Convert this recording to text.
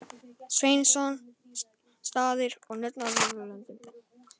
Sveinsson: Staðir og nöfn á Norðurlöndum.